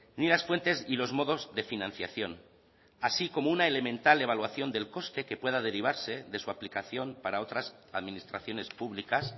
ni las fuentes y los modos de financiación así como una elemental evaluación del coste que pueda derivarse de su aplicación para otras administraciones públicas